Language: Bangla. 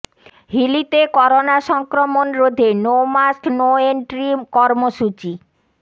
হিলিতে করোনা সংক্রমণ রোধে নো মাস্ক নো এন্ট্রি কর্মসূচি